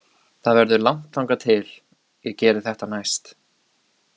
Það verður langt þangað til ég geri þetta næst.